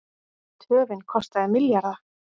Töfin kostaði milljarða